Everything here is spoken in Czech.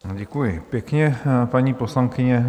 Děkuji pěkně, paní poslankyně.